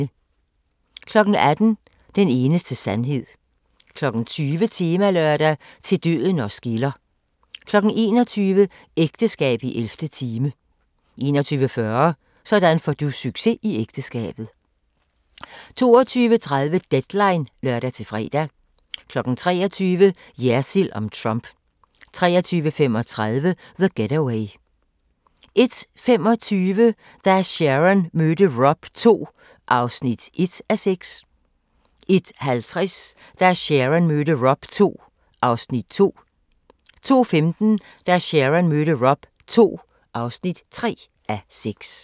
18:00: Den eneste sandhed 20:00: Temalørdag: Til døden os skiller 21:00: Ægteskab i 11. time 21:40: Sådan får du succes i ægteskabet 22:30: Deadline (lør-fre) 23:00: Jersild om Trump 23:35: The Getaway 01:25: Da Sharon mødte Rob II (1:6) 01:50: Da Sharon mødte Rob II (2:6) 02:15: Da Sharon mødte Rob II (3:6)